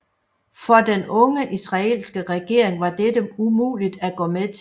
For den unge israelske regering var dette umuligt at gå med til